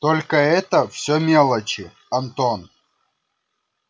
только это всё мелочи антон